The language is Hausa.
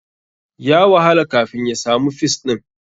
Ya wahala kafin ya samu fis ɗin.